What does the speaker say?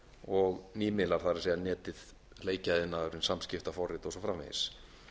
og nýmiðlar það er netið leikjaiðnaðurinn samskiptaforrit og svo framvegis